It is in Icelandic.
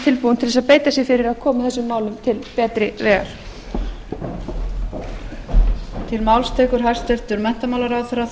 tilbúinn til þess að beita sér fyrir því að koma þessum málum til betri vegar